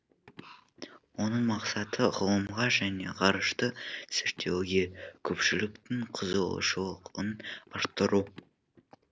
оның мақсаты ғылымға және ғарышты зерттеуге көпшіліктің қызығушылығын арттыру